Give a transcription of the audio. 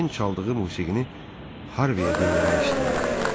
Den çaldığı musiqini Harveyə dinləmək istəyirdi.